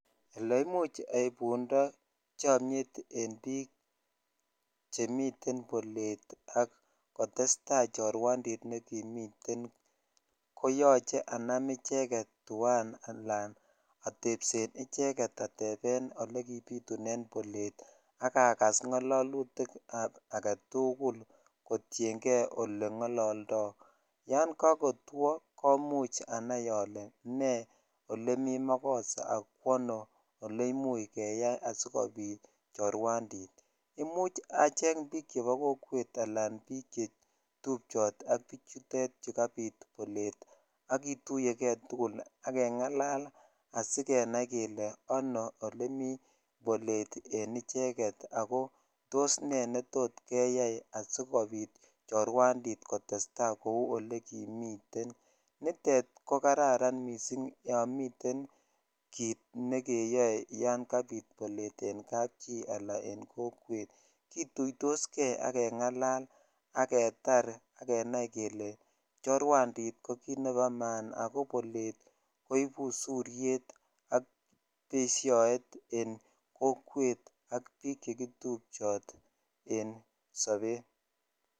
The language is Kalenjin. leimuch keipundo chomiet en biik chemiten bolet ak kotesta chorwandit nekimiten koyoche anam icheget tuan alan atepsen icheget atepen ole kipitunen bolet ak akas ng'ololutik ab agetugul kotiengee ole ng'ololdo yoon ko kotwo komuch anai ole nee ele mi makosa akwono ele imuch keyai sikopit chorwandit imuch acheng biik chepo kokwet anan biik chetupchot ak bichutet chukabit suriet ak kituye kee tugul ak keng'alal asikenai kele anoo ele mi bolet en icheget ako tos nee netot keyai asikopit chorwandit kotesta kou ole kimiten nitet kokararan yon miten kit nekeyoe yoon kabit bolet en kapchi anan kokwet kituitoskee ak keng'alal aketar akenai kele chorwandit kokit nepo komonut ako bolet koipu suriet ak peshoet en kokwet ak biik chekitupchoot en sobet